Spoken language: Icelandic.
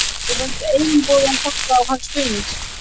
Mér fannst einboðið að fara á hans fund.